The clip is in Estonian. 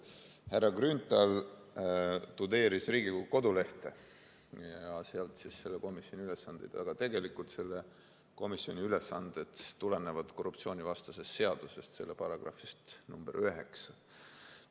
Härra Grünthal tudeeris Riigikogu kodulehte ja sealt selle komisjoni ülesandeid, aga tegelikult selle komisjoni ülesanded tulenevad korruptsioonivastasest seadusest, selle §-st 9.